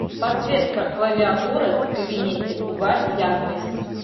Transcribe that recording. подсветка клавиатуры в кабинете убавь яркость